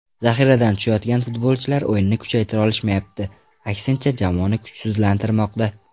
Zaxiradan tushayotgan futbolchilar o‘yinni kuchaytira olishmayapti, aksincha, jamoani kuchsizlantirmoqda.